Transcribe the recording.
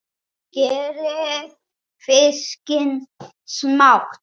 Skerið fiskinn smátt.